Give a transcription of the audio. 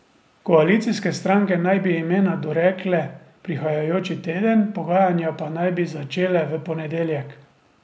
Koalicijske stranke naj bi imena dorekle prihajajoči teden, pogajanja pa naj bi začele v ponedeljek.